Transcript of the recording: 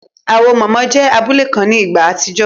Awo mama jẹ́ abule kan ní ìgbà àtijọ́